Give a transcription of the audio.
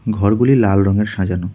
ঘর গুলি লাল রঙের সাজানো।